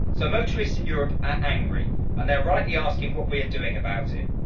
So motorists in Europe are angry, and they're rightly asking what we're doing about it.